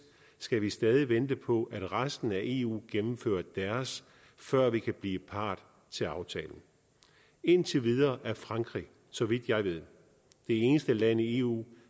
skal vi stadig vente på at resten af eu gennemfører deres før vi kan blive part til aftalen indtil videre er frankrig så vidt jeg ved det eneste land i eu